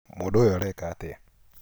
Mũndũ ũyũ areka atĩa